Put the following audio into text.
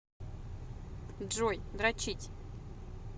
джой дрочить